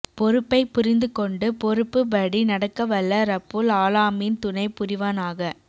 பொறுப்பை புரிந்து கொண்டு பொறுப்பு படி நடக்க வல்ல ரப்புல் ஆளாமீன் துணை புரிவனாக